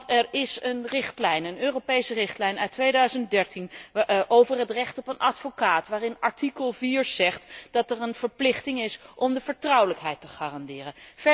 Want er is een Europese richtlijn uit 2013 over het recht op een advocaat, waarvan artikel 4 bepaalt dat er een verplichting is om de vertrouwelijkheid te garanderen.